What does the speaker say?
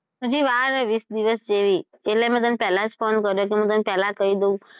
હજુ વાર છે વીસ દિવસ જેવી એટલે મે તને પહેલા જ phone કર્યો કે તને તો પહેલા જ કહી દવ.